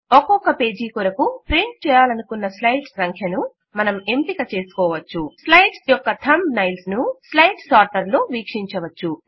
ఒక్కొక్క పేజ్ కొరకు ప్రింట్ చేయాలనుకున్న స్లైడ్స్ సంఖ్యను మనం ఎంపిక చేసుకోవచ్చు స్లైడ్స్ యొక్క థంబ్ నైల్స్ ను స్లైడ్ సార్టర్ లో వీక్షించవచ్చు